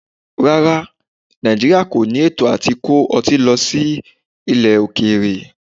Rárá, Nàìjíríà kọ ní ètò à ti kó ọtí lọ sí ilẹ̀ okèèrè.